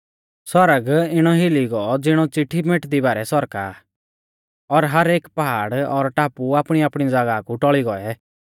आसमान इणौ हिली गौ ज़िणौ चिट्ठी मेटदी बारै सौरका आ और हर एक पहाड़ और टापु आपणीआपणी ज़ागाह कु टौल़ी गौऐ